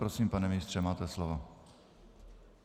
Prosím, pane ministře, máte slovo.